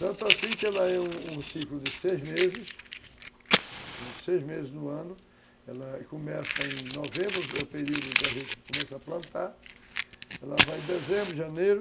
Tanto assim que ela é um um ciclo de seis meses, seis meses no ano, ela começa em novembro, é o período em que a gente começa a plantar, ela vai de dezembro, janeiro,